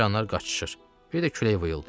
Sıçanlar qaçışır, bir də külək vıyıldayır.